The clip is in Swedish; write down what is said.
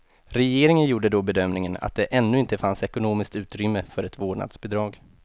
Regeringen gjorde då bedömningen att det ännu inte fanns ekonomiskt utrymme för ett vårdnadsbidrag.